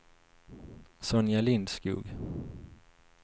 Sonja Lindskog